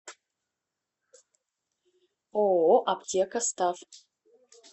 ооо аптекастав